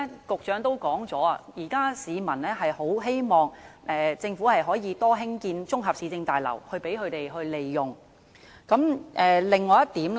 局長剛才也提到，市民希望政府多興建綜合市政大樓供他們使用。